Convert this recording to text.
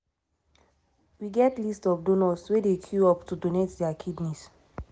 "we get list of donors wey dey queue up to donate dia kidneys."